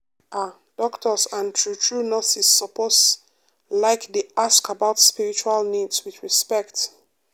ah doctors and true true nurses suppose like dey ask about spiritual needs with respect.